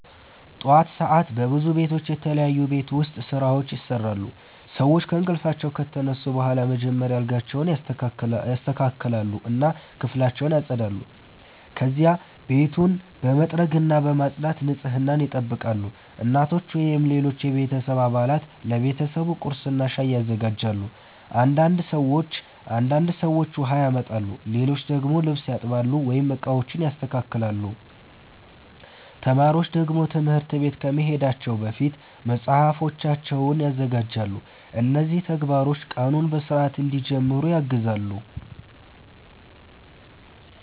ጠዋት ሰዓት በብዙ ቤቶች የተለያዩ የቤት ውስጥ ስራዎች ይሰራሉ። ሰዎች ከእንቅልፋቸው ከተነሱ በኋላ መጀመሪያ አልጋቸውን ያስተካክላሉ እና ክፍላቸውን ያጸዳሉ። ከዚያ ቤቱን በመጥረግና በማጽዳት ንጽህናን ይጠብቃሉ። እናቶች ወይም ሌሎች የቤተሰብ አባላት ለቤተሰቡ ቁርስና ሻይ ያዘጋጃሉ። አንዳንድ ሰዎች ውሃ ያመጣሉ፣ ሌሎች ደግሞ ልብስ ያጥባሉ ወይም ዕቃዎችን ያስተካክላሉ። ተማሪዎች ደግሞ ትምህርት ቤት ከመሄዳቸው በፊት መጽሐፋቸውን ያዘጋጃሉ። እነዚህ ተግባሮች ቀኑን በሥርዓት እንዲጀምሩ ያግዛሉ።